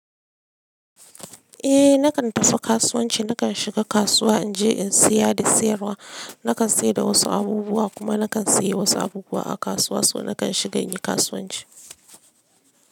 Eh nakan tafi kasuwanci, nakan shiga kasuwa in je in saya da sayarwa. Nakan sayar da wasu abubuwa kuma nakan sayi wasu abubuwa a kasuwa, so nakan shiga yin kasuwanci.